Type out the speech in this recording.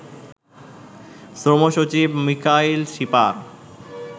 শ্রম সচিব মিকাইল শিপার